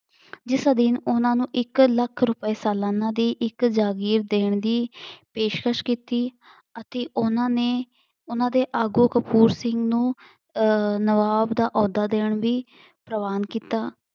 ਜਿਸ ਅਧੀਨ ਉਹਨਾਂ ਨੂੰ ਇੱਕ ਲੱਖ ਰੁਪਏ ਸਲਾਨਾਂ ਦੀ ਇੱਕ ਜਾਗੀਰ ਦੇਣ ਦੀ ਪੇਸ਼ਕਸ਼ ਕੀਤੀ ਅਤੇ ਉਹਨਾਂ ਨੇ ਉਹਨਾਂ ਦੇ ਆਗੂ ਕਪੂਰ ਸਿੰਘ ਨੂੰ ਆਹ ਨਵਾਬ ਦਾ ਅਹੁਦਾ ਦੇਣ ਦੀ ਪ੍ਰਵਾਨ ਕੀਤਾ।